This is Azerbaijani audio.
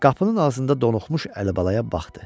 Qapının ağzında donuxmuş Əlibalaya baxdı.